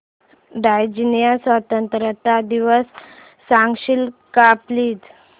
Tanzania स्वतंत्रता दिवस सांगशील का प्लीज